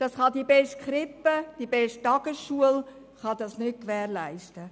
Das kann die beste Krippe oder die beste Tagesschule nicht gewährleisten.